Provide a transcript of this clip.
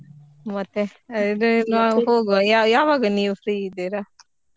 ಮತ್ತೆ ಹೀಗೆ ನಾವ್ ಹೋಗುವ ಯಾವಾಗ ನೀವ್ free ಇದ್ದೀರಾ?